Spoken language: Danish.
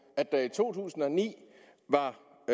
at der i to tusind og ni